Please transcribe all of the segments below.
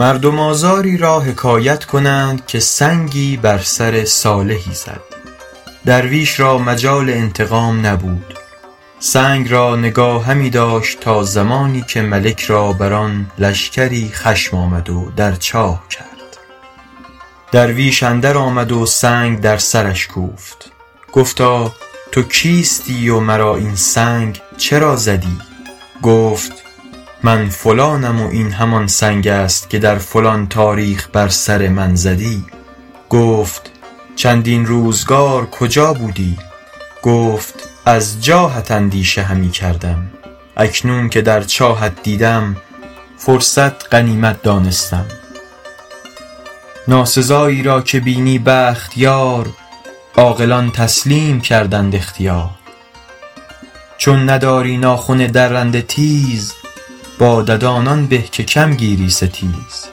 مردم آزاری را حکایت کنند که سنگی بر سر صالحی زد درویش را مجال انتقام نبود سنگ را نگاه همی داشت تا زمانی که ملک را بر آن لشکری خشم آمد و در چاه کرد درویش اندر آمد و سنگ در سرش کوفت گفتا تو کیستی و مرا این سنگ چرا زدی گفت من فلانم و این همان سنگ است که در فلان تاریخ بر سر من زدی گفت چندین روزگار کجا بودی گفت از جاهت اندیشه همی کردم اکنون که در چاهت دیدم فرصت غنیمت دانستم ناسزایی را که بینی بخت یار عاقلان تسلیم کردند اختیار چون نداری ناخن درنده تیز با ددان آن به که کم گیری ستیز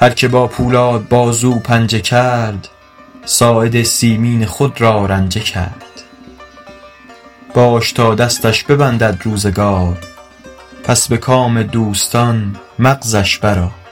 هر که با پولاد بازو پنجه کرد ساعد مسکین خود را رنجه کرد باش تا دستش ببندد روزگار پس به کام دوستان مغزش بر آر